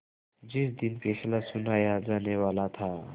जिस दिन फैसला सुनाया जानेवाला था